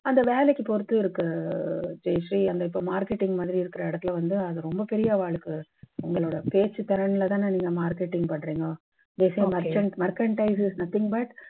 அந்த வேலைக்கு பொறுத்து இருக்கு ஜெயஸ்ரீ அந்த இப்போ marketing மாதிரி இருக்கற இடத்துல வந்து அது ரொம்ப பெரிய அவாளுக்கு, இந்த பேச்சுத் திறன்ல தான் இந்த marketing பார்த்தீங்க. mercantile is nothing but